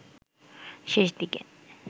শেষ দিকে